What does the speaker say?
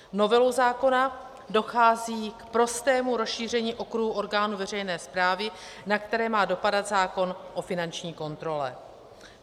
Novelou zákona dochází k prostému rozšíření okruhu orgánů veřejné správy, na které má dopadat zákon o finanční kontrole.